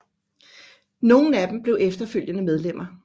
Nogle af dem blev efterfølgende medlemmer